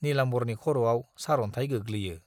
नीलाम्बरनि खर'आव सार'न्थाय गोग्लैयो।